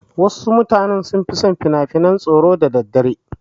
Wasu mutane sun fi son kallon finafinan tsoro da daddare.